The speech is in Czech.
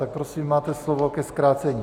Tak prosím, máte slovo ke zkrácení.